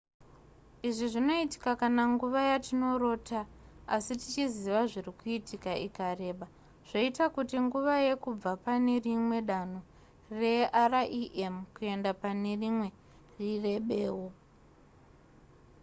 izvi zvinoitika kana nguva yatinorota asi tichiziva zviri kuitika ikareba zvoita kuti nguva yekubva pane rimwe danho rerem kuenda pane rimwe irebewo